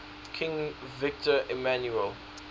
king victor emmanuel